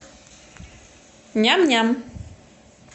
ням ням